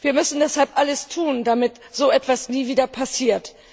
Wir müssen deshalb alles tun, damit so etwas nie wieder passiert.